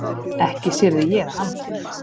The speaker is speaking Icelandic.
Ekki syrgði ég hann.